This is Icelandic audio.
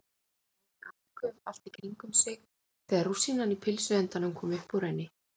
Heyrði andköf allt í kringum sig þegar rúsínan í pylsuendanum kom upp úr henni.